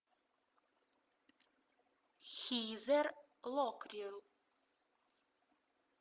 хизер локлир